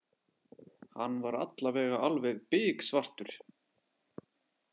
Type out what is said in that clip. Hann var allavega alveg biksvartur.